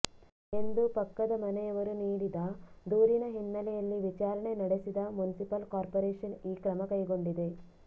ಎಂದು ಪಕ್ಕದ ಮನೆಯವರು ನೀಡಿದ ದೂರಿನ ಹಿನ್ನೆಲೆಯಲ್ಲಿ ವಿಚಾರಣೆ ನಡೆಸಿದ ಮುನ್ಸಿಪಾಲ್ ಕಾರ್ಪೊರೇಷನ್ ಈ ಕ್ರಮ ಕೈಗೊಂಡಿದೆ